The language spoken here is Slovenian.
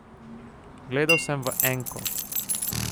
Gledal sem v enko.